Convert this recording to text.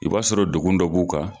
I b'a sɔrɔ dogun dɔ b'u kan.